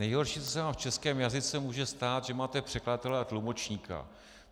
Nejhorší, co se vám v českém jazyce může stát, že máte překladatele a tlumočníka.